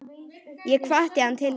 Ég hvatti hann til þess.